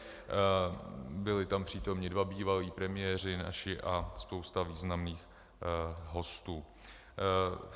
Byli tam přítomni dva bývalí premiéři naši a spousta významných hostů.